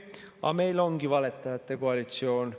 Aga meil ongi valetajate koalitsioon.